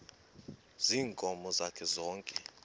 ziinkomo zakhe zonke